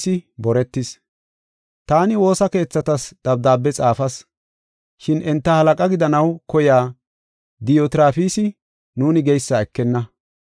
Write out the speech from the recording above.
Taani woosa keethatas dabdaabe xaafas, shin enta halaqaa gidanaw koyiya Diyotrafisi nuuni geysa ekenna.